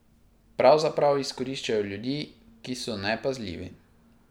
Pravzaprav izkoriščajo ljudi, ki so nepazljivi.